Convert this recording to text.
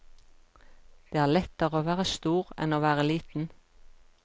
Det er lettere å være stor enn å være liten.